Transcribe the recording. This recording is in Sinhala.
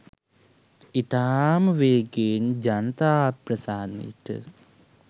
ඉතාම වේගයෙන් ජනතා අප්‍රසාදයට